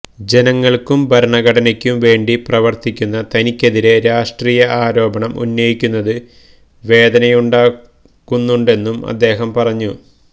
ജനങ്ങൾക്കും ഭരണഘടനയ്ക്കും വേണ്ടി പ്രവർത്തിക്കുന്ന തനിക്കെതിരെ രാഷ്ട്രീയ ആരോപണം ഉന്നയിക്കുന്നത് വേദനയുണ്ടാക്കുന്നുണ്ടെന്നും അദ്ദേഹം പറഞ്ഞു